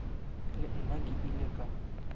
le nna ke ile ka